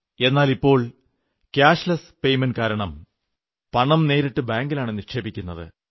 എന്നാലിപ്പോൾ cashless payment കാരണം പണം നേരിട്ട് ബാങ്കിലാണ് നിക്ഷേപിക്കപ്പെടുന്നത്